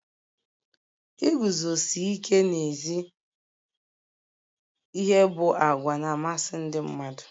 Iguzosi ike n'ezi ihe bụ àgwà na-amasị ndị mmadụ.